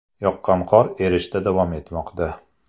Yoqqan qor erishda davom etmoqda.